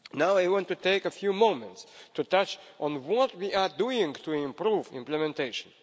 I want to take a few moments to touch on what we are doing to improve implementation.